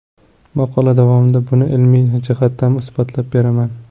Maqola davomida buni ilmiy jihatdan isbotlab beraman.